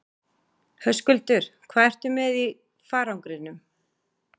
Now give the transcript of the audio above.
Höskuldur: Hvað ertu með í farangrinum?